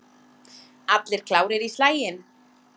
Allir klárir í slaginn?